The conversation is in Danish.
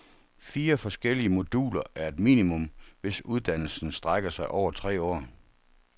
Fire forskellige moduler er et minimum, hvis uddannelsen strækker sig over tre år.